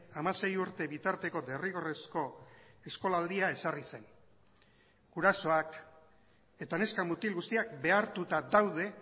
hamasei urte bitarteko derrigorrezko eskolaldia ezarri zen gurasoak eta neska mutil guztiak behartuta daude